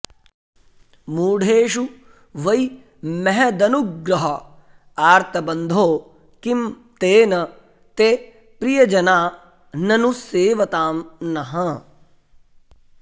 मूढेषु वै महदनुग्रह आर्तबन्धो किं तेन ते प्रियजनाननुसेवतां नः